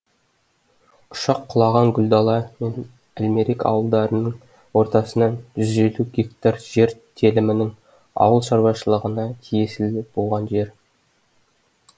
ұшақ құлаған гүлдала әлмерек ауылдарының ортасынан жүз елу гектар жер телімінің ауыл шаруашылығына тиесілі жер болған